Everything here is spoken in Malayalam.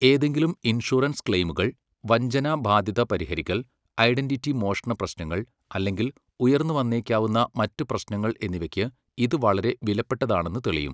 ഏതെങ്കിലും ഇൻഷുറൻസ് ക്ലെയിമുകൾ, വഞ്ചന ബാധ്യത പരിഹരിക്കൽ, ഐഡന്റിറ്റി മോഷണ പ്രശ്നങ്ങൾ, അല്ലെങ്കിൽ ഉയർന്നുവന്നേക്കാവുന്ന മറ്റ് പ്രശ്നങ്ങൾ എന്നിവയ്ക്ക് ഇത് വളരെ വിലപ്പെട്ടതാണെന്ന് തെളിയും.